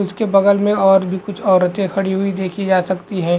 उसके बगल मे और भी कुछ औरते खड़ी हुई देखी जा सकती है।